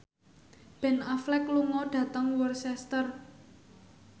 Ben Affleck lunga dhateng Worcester